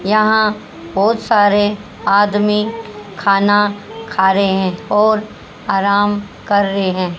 यहां बहोत सारे आदमी खाना खा रहे हैं और आराम कर रहे हैं।